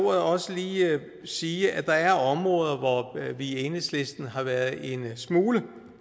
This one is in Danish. også lige sige at der er områder hvor vi i enhedslisten har været en smule